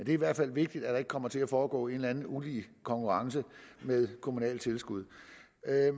i hvert fald vigtigt at kommer til at foregå en eller anden ulige konkurrence med kommunale tilskud